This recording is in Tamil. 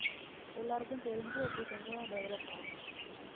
எல்லாருக்கும் தெரிஞ்சு அப்படி கொஞ்சம் develop ஆகும்